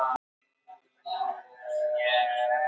Lesa innihaldslýsingar.